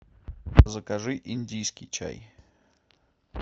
закажи индийский чай